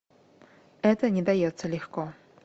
это не дается легко